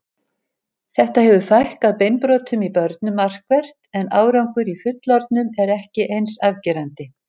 Þetta hefur fækkað beinbrotum í börnum markvert en árangur í fullorðnum er ekki eins afgerandi.